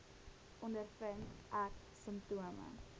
ondervind ek simptome